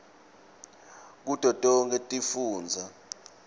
kuto tonkhe tifundza